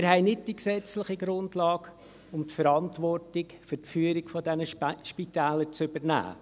Wir haben nicht die gesetzliche Grundlage, um die Verantwortung für die Führung dieser Spitäler zu übernehmen.